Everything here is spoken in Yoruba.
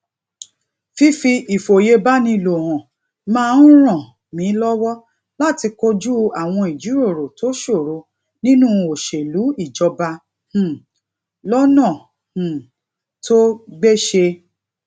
fífi ìfòyebánilò hàn máa ń ràn mí lówó láti kojú àwọn ìjíròrò tó ṣòro nínú òṣèlú ìjọba um lónà um tó gbéṣé